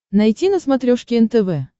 найти на смотрешке нтв